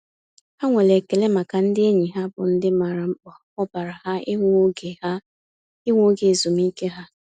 Ha nwere ekele maka ndị enyi ha bụ ndị maara mkpa ọ baara ha ịnwe oge ha ịnwe oge ezumiike ha.